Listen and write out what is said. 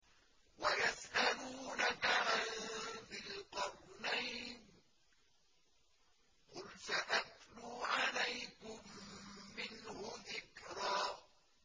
وَيَسْأَلُونَكَ عَن ذِي الْقَرْنَيْنِ ۖ قُلْ سَأَتْلُو عَلَيْكُم مِّنْهُ ذِكْرًا